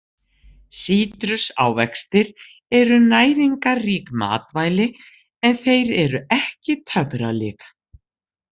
Sítrusávextir eru næringarrík matvæli en þeir eru ekki töfralyf.